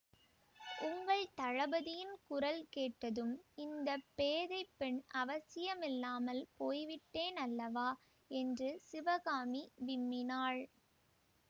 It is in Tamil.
உங்கள் தளபதியின் குரல் கேட்டதும் இந்த பேதை பெண் அவசியமில்லாமல் போய் விட்டேனல்லவா என்று சிவகாமி விம்மினாள்